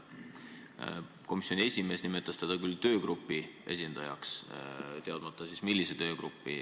Komisjoni esimees nimetas teda küll töögrupi esindajaks – teadmata, millise töögrupi.